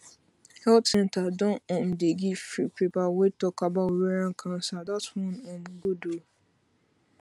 health centre don um dey give free paper wey talk about ovarian cancer that one um good ooo